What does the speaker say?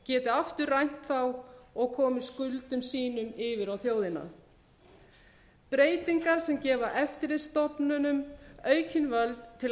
geti aftur rænt þá og komið skuldum sínum yfir á þjóðina breytingar sem gefa eftirlitsstofnunum aukin völd til að